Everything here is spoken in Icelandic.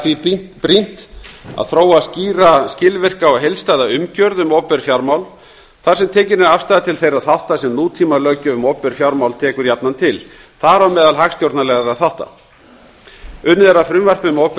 því er brýnt að þróa skýra skilvirka og heildstæða umgjörð um opinber fjármál þar sem tekin er afstaða til þeirra þátta sem nútímalöggjöf um opinber fjármál tekur jafnan til þar á meðal hagstjórnarlegra þátta unnið er að frumvarpi um